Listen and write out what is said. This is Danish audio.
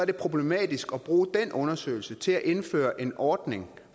problematisk at bruge den undersøgelse til at indføre en ordning